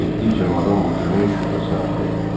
Getdikcə madam Vokenin şübhəsi artırdı.